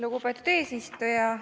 Lugupeetud eesistuja!